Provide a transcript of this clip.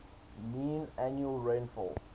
mean annual rainfall